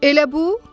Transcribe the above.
Elə bu?